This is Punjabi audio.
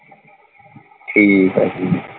ਠੀਕ ਆ ਠੀਕ।